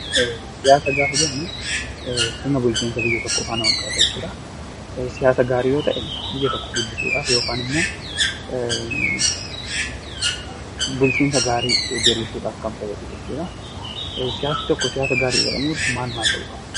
Siyaasa gaafa jennu sirna bulchiinsa biyya tokkoo faana wal qabata jechuudha. Siyaasa gaarii yoo ta'e, biyya tokko guddisuudhaaf yookaan ammoo bulchiinsa gaarii diddiriirsuudhaaf kan fayyadudha jechuudha. Siyaasni tokko siyaasa gaarii jedhamuuf maal maal ta'uu qaba?